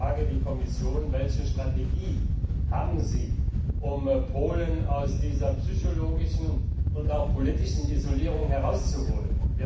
Ich frage die Kommission Welche Strategie haben Sie, um Polen aus dieser psychologischen und auch politischen Isolierung herauszuholen?